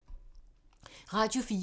Radio 4